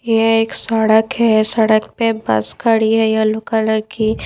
ये एक सड़क है सड़क पे बस खड़ी है येलो कलर की--